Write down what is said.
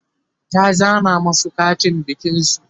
ta zana masu Katin bikin su